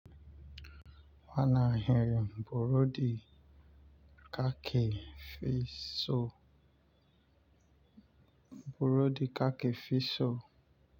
Wa nan hiyarin burodi burodi ka ke fi so.